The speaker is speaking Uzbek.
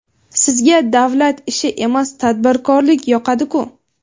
Sizga davlat ishi emas, tadbirkorlik yoqadi-ku.